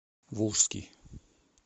волжский